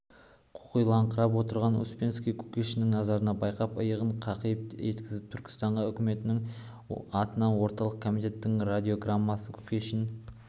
қоқиланыңқырап отырған успенский кушекиннің назарын байқап иығын қиқаң еткізді түркістан үкіметінің атына орталық комитетінің радиограммасы кушекин